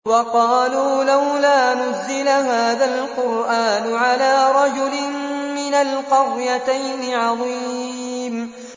وَقَالُوا لَوْلَا نُزِّلَ هَٰذَا الْقُرْآنُ عَلَىٰ رَجُلٍ مِّنَ الْقَرْيَتَيْنِ عَظِيمٍ